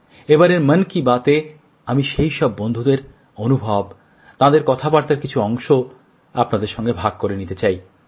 এবারের মন কি বাতএ আমি সেই সব বন্ধুদের অনুভব তাঁদের কথাবার্তার কিছু অংশ আপনাদের সঙ্গে ভাগ করে নিতে চাই